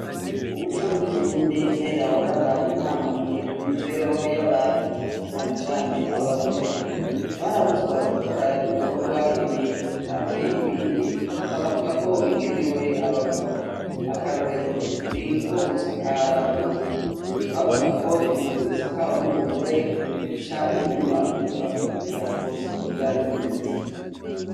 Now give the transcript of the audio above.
Umuco w'ikirundi kera waraba intamamye ku mibereho y'abantu cane cane abagore, barabuzwa gukora ibikorwa ibi canke ibindi bakavugako bigenewe abagabo, akarorero ni nkogusakara inzu, bavuga ko inzu isakawe n'umugore ica iguma iva ariko siko vyari bimeze.